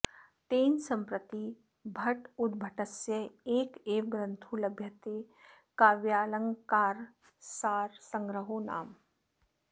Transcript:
तेन सम्प्रति भट्टोद्भटस्य एक एव ग्रन्थो लभ्यते काव्यालङ्कारसारसंग्रहो नाम